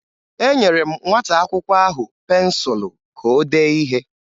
Enyere m nwata akwụkwọ ahụ pensụlụ ka o dee ihe.